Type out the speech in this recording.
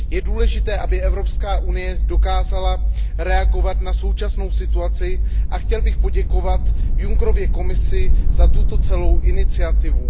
Je důležité, aby Evropská unie dokázala reagovat na současnou situaci a chtěl bych poděkovat Junckerově Komisi za tuto celou iniciativu.